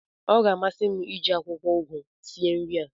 ọ ga-amasị m iji akwụkwọ ụgụ sie nri a